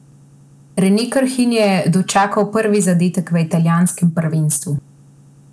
Rene Krhin je dočakal prvi zadetek v italijanskem prvenstvu!